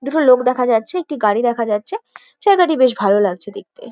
দুটো লোক দেখা যাচ্ছে একটি গাড়ি দেখা যাচ্ছে জায়গাটি বেশ ভালো লাগছে দেখতে।